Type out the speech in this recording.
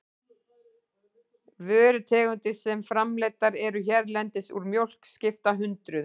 Vörutegundir sem framleiddar eru hérlendis úr mjólk skipta hundruðum.